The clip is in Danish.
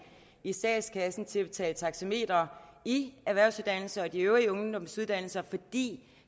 i statskassen til at betale taxameter i erhvervsuddannelser og de øvrige ungdomsuddannelser fordi